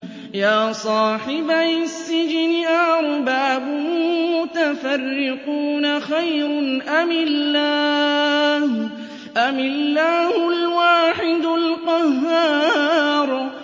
يَا صَاحِبَيِ السِّجْنِ أَأَرْبَابٌ مُّتَفَرِّقُونَ خَيْرٌ أَمِ اللَّهُ الْوَاحِدُ الْقَهَّارُ